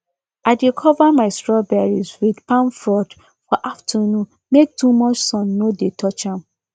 i dey cover my strawberries with palm fronds for afternoon make too much sun no dey touch am